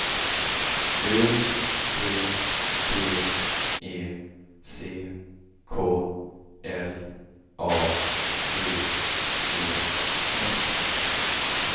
U T V E C K L A D E S